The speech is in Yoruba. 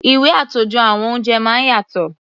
Ìwé àtòjọ àwọn oúnjẹ máa ń yàtọ̀.